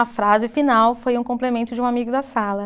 A frase final foi um complemento de um amigo da sala.